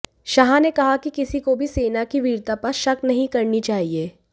शाह ने कहा कि किसी को भी सेना की वीरता पर शक नहीं करनी चाहिए